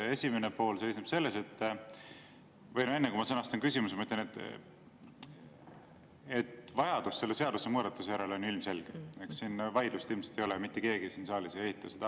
Veel enne, kui ma sõnastan küsimuse, ütlen, et vajadus selle seadusemuudatuse järele on ju ilmselge, siin vaidlust ilmselt ei ole, mitte keegi siin saalis ei eita seda.